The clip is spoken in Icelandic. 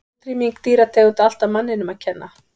Er útrýming dýrategunda alltaf manninum að kenna?